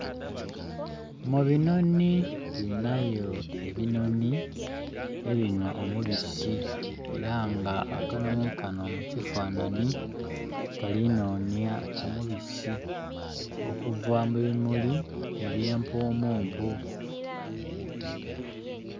Mu binonhi tulinayo ebinonhi ebinhwa omubisi era nga akanonhi kano mu kifananhi kali nonya omubisi okuva mu bi muli eby'empumumpu.